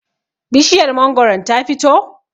bishiyar mangoron ta fito?